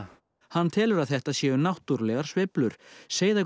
hann telur að þetta séu náttúrulegar sveiflur